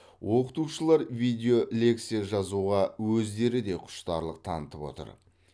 оқытушылар видеолекция жазуға өздері де құштарлық танытып отыр